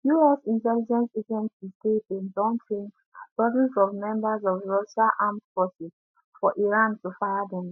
us intelligence say dem don train dozens of members of russia armed forces for iran to fire dem